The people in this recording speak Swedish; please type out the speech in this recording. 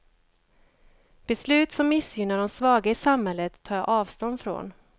Beslut som missgynnar de svaga i samhället tar jag avstånd från.